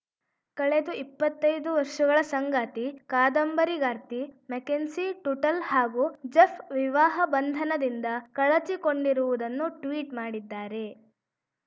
ಕಳೆದು ಇಪ್ಪತ್ತೈದು ವರ್ಷಗಳ ಸಂಗಾತಿ ಕಾದಂಬರಿಗಾರ್ತಿ ಮೆಕೆನ್ಸಿ ಟುಟಲ್‌ ಹಾಗೂ ಜೆಫ್‌ ವಿವಾಹ ಬಂಧನದಿಂದ ಕಳಚಿಕೊಂಡಿರುವುದನ್ನು ಟ್ವೀಟ್‌ ಮಾಡಿದ್ದಾರೆ